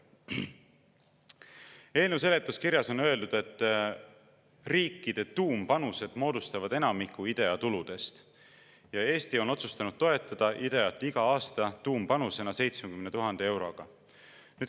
Eelnõu seletuskirjas on öeldud, et riikide tuumpanused moodustavad enamiku IDEA tuludest ja Eesti on otsustanud toetada IDEA‑t iga aasta tuumpanusena 70 000 euroga.